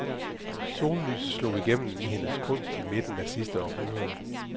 Sollyset slog igennem i hendes kunst i midten af sidste århundrede.